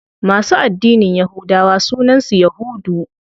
Masu addinin yahudawa sunan su yahudu.